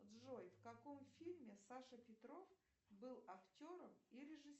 джой в каком фильме саша петров был актером и режиссером